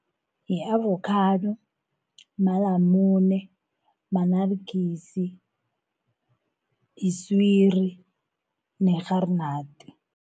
Yi-avokhado, malamune, ma-naartjies, yiswiri nerharinadi.